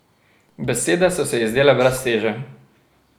Besede so se ji zdele brez teže.